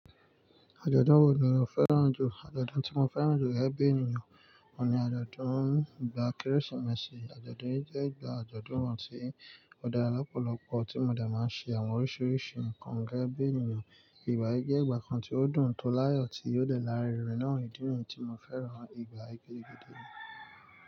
Àjọ̀dún wo ni o fẹ́ràn jù? Àjọ̀dún tí mo fẹ́ràn jù gege bi ènìyàn, òun ni àjọ̀dún ìgbà Kérésìmesì. Àjọ̀dún yìí jẹ́ ìgbà àjọ̀dún wà tí ó dára lọ́pọ̀lọpọ̀ tí mo dà máa ń ṣe àwọn oríṣiríṣi nǹkan gege bi ènìyàn. Ìgbà yìí jẹ́ ìgbà kan tí ó dùn tó láyọ̀ tí yóò lè lárinrin náà ìdí nìyí tí mo fẹ́ràn ìgbà yìí gidi gidi.